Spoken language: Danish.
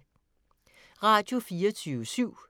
Radio24syv